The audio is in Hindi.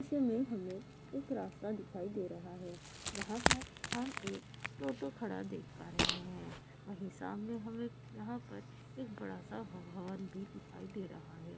इसमें हमें एक ‌‌रास्ता दिखाई दे रहा है यहां पर हम एक औटो खड़ा देख पा रहे है वही सामने हमें या पर एक बड़ा सा हॉल भी दिखाई दे रहा है।